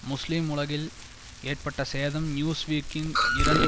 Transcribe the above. முஸ்லீம் உலகில் ஏற்பட்ட சேதம் நியூஸ்வீக்கின் இரண்டு